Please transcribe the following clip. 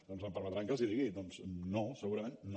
doncs em permetran que els hi digui doncs no segurament no